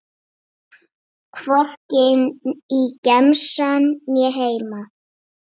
Hvorki í gemsann né heima.